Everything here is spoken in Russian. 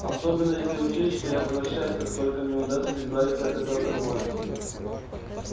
особенно если учесть что я возвращаюсь как только мне удастся избавиться от этого конвоя